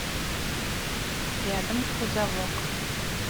рядом кузовок